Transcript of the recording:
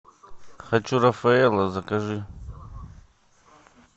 хочу рафаэлло закажи